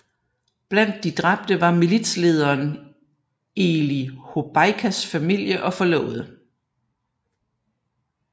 Blandt de dræbte var militslederen Elie Hobeikas familie og forlovede